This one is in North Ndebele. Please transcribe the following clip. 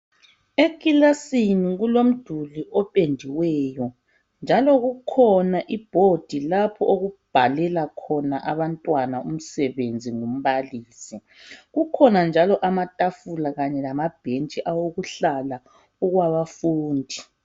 Ekilasini kulumduli opendiweyo njalo kukhona ibhodi lapho okubhalelwa khona abantwana umsebenzi ngumbalisi kukhona njalo amatafula Kanye lamabhentshi okuhlala okwabafundi.